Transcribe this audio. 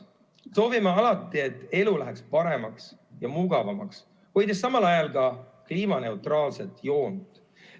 Me soovime, et elu läheks paremaks ja mugavamaks, hoides samal ajal ka kliimaneutraalset joont.